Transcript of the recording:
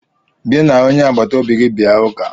Gị na onye agbata obi gị bịa ụka!